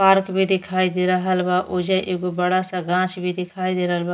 Park भी दिखायी दे रहला बा। वोजा एकगो बड़ा सा गाछ भी दिखायी दे रहला बा।